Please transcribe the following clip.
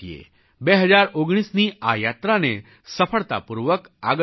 2019ની આ યાત્રાને સફળતાપૂર્વક આગળ વધારીએ